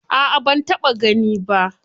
A'a ban taɓa gani ba.